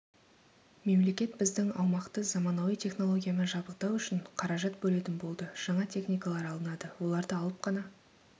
мемлекет біздің аумақты заманауи технологиямен жабдықтау үшін қаражат бөлетін болды жаңа техникалар алынады оларды алып қана